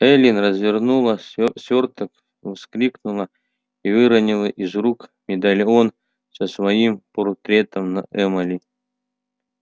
эллин развернула свёрток вскрикнула и выронила из рук медальон со своим портретом на эмали